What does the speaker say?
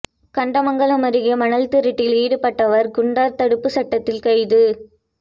கண்டமங்கலம் அருகே மணல் திருட்டில் ஈடுபட்டவர் குண்டர் தடுப்பு சட்டத்தில் கைது